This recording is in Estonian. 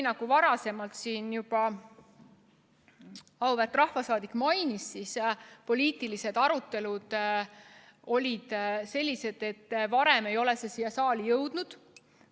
Nagu enne siin auväärt rahvasaadik juba mainis, olid varasemad poliitilised arutelud sellised, et õigel ajal see direktiiv siia saali ei jõudnud.